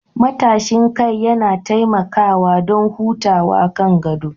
Matashin kai yana taimakawa don hutawa kan gado